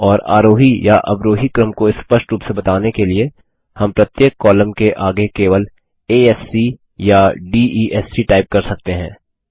और आरोही या अवरोही क्रम को स्पष्ट रूप से बताने के लिए हम प्रत्येक कॉलम के आगे केवल आ एस सी या D E S C type कर सकते हैं